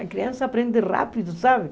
A criança aprende rápido, sabe?